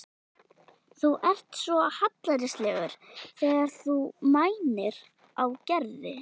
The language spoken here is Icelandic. Þú ert svo hallærislegur þegar þú mænir á Gerði.